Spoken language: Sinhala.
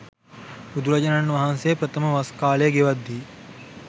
බුදුරජාණන් වහන්සේ ප්‍රථම වස් කාලය ගෙවද්දී